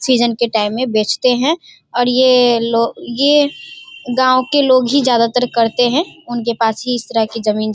Season के time मे बेचते हैं और ये लो ये गांव के लोग ही ज़्यादातर करते हैं। उनके पास ही इस तरह की जमीन --